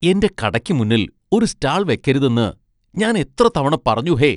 എന്റെ കടയ്ക്ക് മുന്നിൽ ഒരു സ്റ്റാൾ വെക്കരുതെന്ന് ഞാൻ എത്ര തവണ പറഞ്ഞു ഹേ?